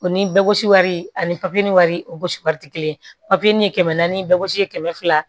O ni bɛɛ gosi wari ani wari o gosi wari tɛ kelen papiye ni ye kɛmɛ naani bɛɛ gosi ye kɛmɛ fila